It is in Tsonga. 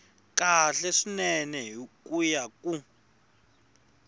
kahle swinene ku ya hi